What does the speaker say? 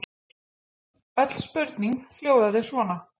Öll spurningin hljóðaði svona: